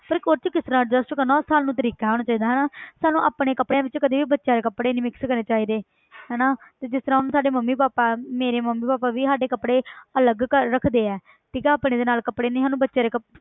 ਪਰ ਉਹ 'ਚ ਕਿਸ ਤਰ੍ਹਾਂ adjust ਕਰਨਾ ਉਹ ਸਾਨੂੰ ਤਰੀਕਾ ਆਉਣਾ ਚਾਹੀਦਾ ਹਨਾ ਸਾਨੂੰ ਆਪਣੇ ਕੱਪੜਿਆਂ ਵਿੱਚ ਕਦੇ ਬੱਚਿਆਂ ਦੇ ਕੱਪੜੇ ਨੀ mix ਕਰਨੇ ਚਾਹੀਦੇ ਹਨਾ ਤੇ ਜਿਸ ਤਰ੍ਹਾਂ ਹੁਣ ਸਾਡੇ ਮੰਮੀ ਪਾਪਾ ਮੇਰੇ ਮੰਮੀ ਪਾਪਾ ਵੀ ਸਾਡੇ ਕੱਪੜੇ ਅਲੱਗ ਕਰ~ ਰੱਖਦੇ ਹੈ ਠੀਕ ਹੈ ਆਪਣੇ ਦੇ ਨਾਲ ਕੱਪੜੇ ਨਹੀਂ ਸਾਨੂੰ ਬੱਚਿਆਂ ਦੇ ਕੱਪ~